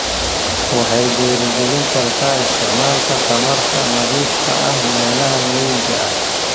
Waxay dhiirigelin kartaa isticmaalka tamarta nadiifka ah ee meelaha miyiga ah.